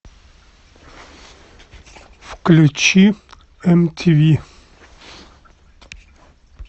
включи мтв